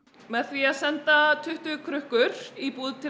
með því að senda tuttugu krukkur í búð til